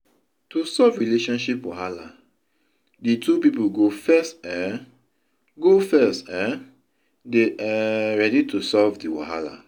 To solve relationship wahala, di two pipo go first um go first um dey um ready to solve di wahala